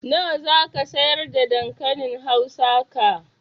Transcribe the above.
Nawa zaka siyar da dankalin hausa ka?